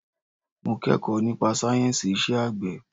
Mo kẹ́kọ̀ọ́ nípa sáyẹ̀nsì iṣẹ́ àgbẹ̀.